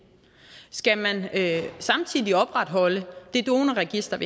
skal man samtidig opretholde donorregistret